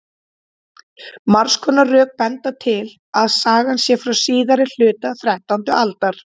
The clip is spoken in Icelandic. margs konar rök benda til að sagan sé frá síðari hluta þrettándu aldar